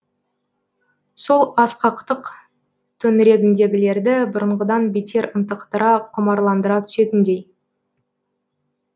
сол асқақтық төңірегіндегілерді бұрынғыдан бетер ынтықтыра құмарландыра түсетіндей